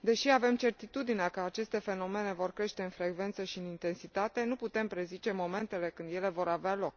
Deși avem certitudinea că aceste fenomene vor crește în frecvență și în intensitate, nu putem prezice momentele când ele vor avea loc.